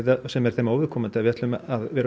sem er þeim óviðkomandi að við ætlum að vera